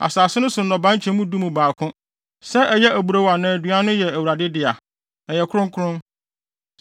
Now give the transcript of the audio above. “ ‘Asase no so nnɔbae nkyɛmu du mu baako, sɛ ɛyɛ aburow anaa aduaba no yɛ Awurade dea. Ɛyɛ kronkron.